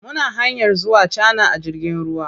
Muna hanyar zuwa Cana a jirgin ruwa.